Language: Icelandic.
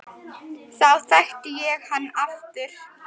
Þá þekkti ég hann aftur